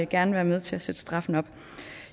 gerne være med til at sætte straffen op